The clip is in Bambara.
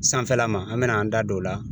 Sanfɛla ma an bɛn'an da don o la